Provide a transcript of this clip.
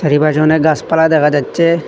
চারিপাশে অনেক গাসপালা দেখা যাচ্ছে।